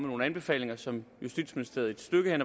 nogle anbefalinger som justitsministeriet et stykke hen